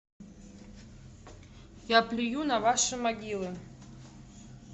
я плюю на ваши могилы